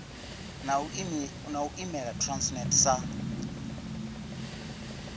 na u imela transnet sa